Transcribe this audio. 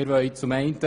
Wir wollen